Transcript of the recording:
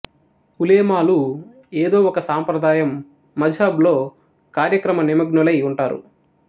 ఉలేమాలు ఏదో ఒక సాంప్రదాయం మజ్ హబ్ లో కార్యక్రమనిమగ్నులై ఉంటారు